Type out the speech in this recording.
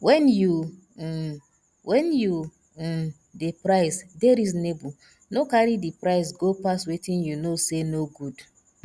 when you um when you um dey price dey reasonable no carry di price go pass wetin you know sey no good